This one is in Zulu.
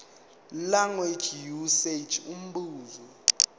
language usage umbuzo